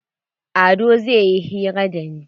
Ado zai yi hira da ni.